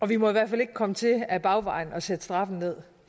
vi må i hvert fald ikke komme til ad bagvejen at sætte straffen ned